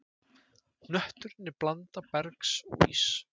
Hnötturinn er blanda bergs og íss.